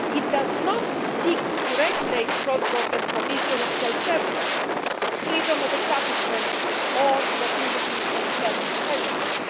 It does not seek to regulate cross border provision of health services, freedom of establishment or the mobility of health professionals.